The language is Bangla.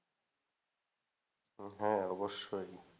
হ্যাঁ অবশ্যই।